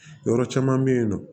Yɔrɔ caman be yen nɔ